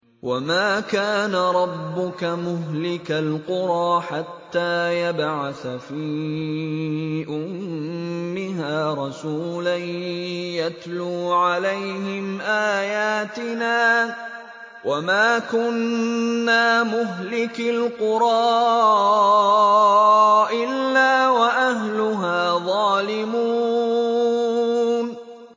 وَمَا كَانَ رَبُّكَ مُهْلِكَ الْقُرَىٰ حَتَّىٰ يَبْعَثَ فِي أُمِّهَا رَسُولًا يَتْلُو عَلَيْهِمْ آيَاتِنَا ۚ وَمَا كُنَّا مُهْلِكِي الْقُرَىٰ إِلَّا وَأَهْلُهَا ظَالِمُونَ